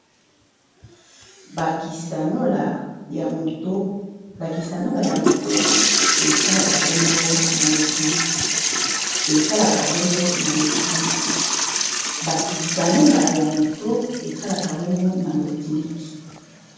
bakisanola ya moto esalaka bongo na lotiliki